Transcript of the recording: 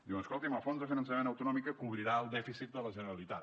diuen escolti’m el fons de finançament autonòmic cobrirà el dèficit de la generalitat